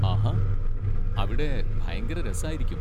ആഹാ, അവിടെ ഭയങ്കര രസായിരിക്കും.